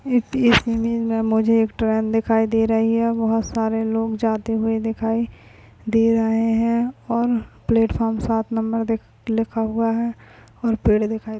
इस पिक्चर मे मुझे ट्रेन दिखाई दे रही है बहुत सारे लोग जाते हुए दिखाई दे रहे है और प्लेटफॉर्म सात नंबर लिखा हुआ है और पेड़ दिखाई --